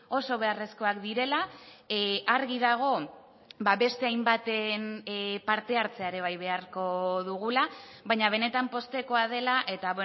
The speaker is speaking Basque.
oso beharrezkoak direla argi dago beste hainbaten parte hartzea ere bai beharko dugula baina benetan poztekoa dela eta